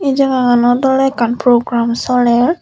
ei jagaganot oley ekkan program soler.